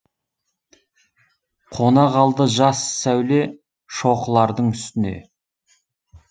қона қалды жас сәуле шоқылардың үстіне